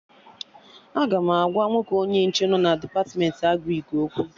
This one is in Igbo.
Aga m agwa nwoke onye nche nọ na Depatmentị Agrịk okwu